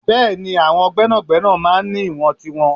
Bẹẹni, àwọn gbẹ́nàgbẹ́nà máa ń ní ìwọ̀n tiwọn.